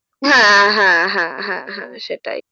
হ্যাঁ হ্যাঁ হ্যাঁ হ্যাঁ হ্যাঁ সেটাই,